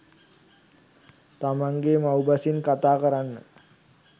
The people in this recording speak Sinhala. තමන්ගේ මව් බසින් කතා කරන්න